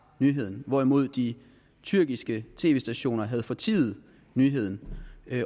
nyheden hvorimod de tyrkiske tv stationer havde fortiet nyheden